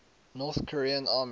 north korean army